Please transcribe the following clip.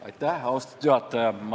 Aitäh, austatud juhataja!